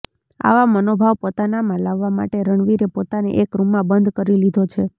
આવા મનોભાવ પોતાનામાં લાવવા માટે રણવીરે પોતાને એક રૂમમાં બંધ કરી લીધો છે